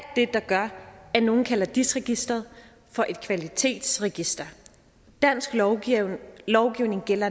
det der gør at nogle kalder dis registeret for et kvalitetsregister dansk lovgivning lovgivning gælder